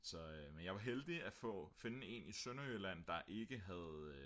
så men jeg var heldig at finde en i Sønderjylland der ikke havde